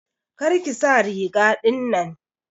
Kar ki sa riga ɗinnan.